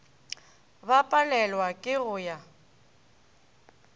ba palelwago ke go ya